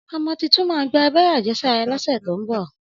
Ọmọ títùn mà sẹ gbà àbẹẹrẹ àjẹsàrá lọsẹ tọ mbọ.